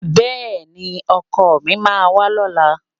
Bẹ́ẹ̀ni, ọkọ mi máa wá lọ́la.